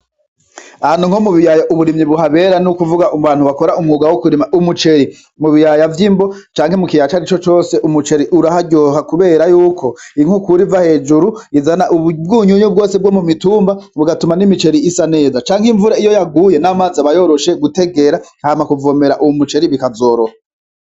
Ahantu nko mu biyaya uburimyi buhabera n'ukuvuga mu bantu bakora umwuga wo kurima umuceri mubiyaya vy'imbo canke mu kiyaca ara ico cose umuceri uraharyoha, kubera yuko ink'ukura iva hejuru izana ububwunyunyu bwose bwo mu mitumba bugatuma n'imiceri isa neza canke imvura iyo yaguye n'amazi abayoroshe gutegera nkama kuvomera uwu muceri bikazoroha.